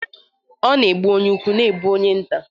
..ọ na egbu onye ukwu, ọ na egbu onye nta.